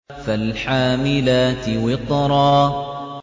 فَالْحَامِلَاتِ وِقْرًا